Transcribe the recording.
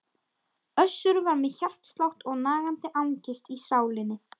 Össur var með hjartslátt og nagandi angist í sálinni.